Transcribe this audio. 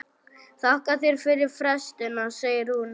Þakka þér fyrir festina, segir hún.